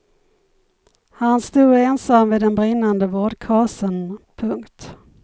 Han stod ensam vid den brinnande vårdkasen. punkt